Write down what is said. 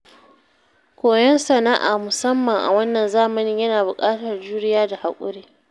Koyon sana’a, musamman a wannan zamanin, yana buƙatar juriya da haƙuri.